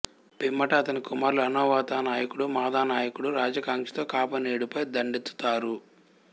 పిమ్మట ఆతని కుమారులు అనవోతా నాయకుడు మాదా నాయకుడు రాజ్యకాంక్షతో కాపానీడుపై దండెత్తుతారు